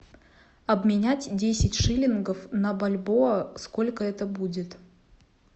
обменять десять шиллингов на бальбоа сколько это будет